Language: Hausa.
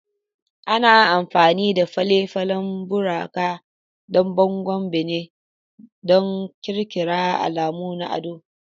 Ana amfani da fale-falen buraka don bangon bene, da ƙirƙirar alamu na ado.